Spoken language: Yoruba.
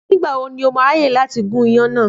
Nígbà wo ni ó má a ráàyè láti gún iyan náà.